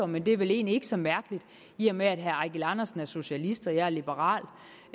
men det er vel egentlig ikke så mærkeligt i og med herre eigil andersen er socialist og jeg er liberal